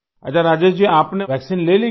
अच्छा राजेश जी आपने वैक्सीन ले ली क्या